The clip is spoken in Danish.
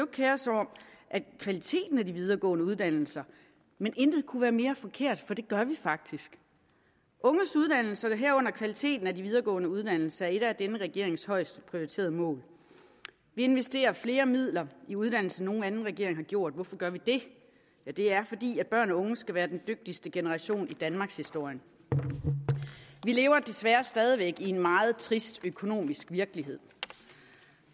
kere os om kvaliteten af de videregående uddannelser men intet kunne være mere forkert for det gør vi faktisk ungdomsuddannelserne herunder kvaliteten af de videregående uddannelser er et af denne regerings højest prioriterede mål vi investerer flere midler i uddannelse end nogen anden regering har gjort hvorfor gør vi det ja det er fordi børn og unge skal være den dygtigste generation i danmarkshistorien vi lever desværre stadig væk i en meget trist økonomisk virkelighed